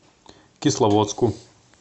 кисловодску